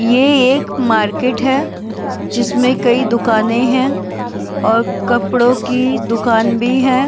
ये एक मार्केट है जिसमें कई दुकानें हैं और कपड़ों की दुकान भी हैं।